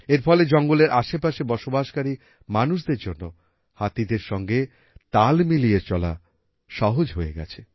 এর ফলে জঙ্গলের আশেপাশে বসবাসকারী মানুষদের জন্য হাতিদের সঙ্গে তাল মিলিয়ে চলা সহজ হয়ে গেছে